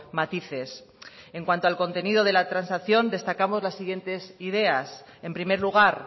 matices en cuanto al contenido de la transacción destacamos las siguientes ideas en primer lugar